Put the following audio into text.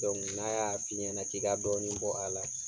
n'a y'a f'i ɲɛna k'i ka dɔɔnin bɔ a la